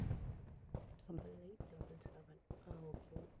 double eight double seven ah okay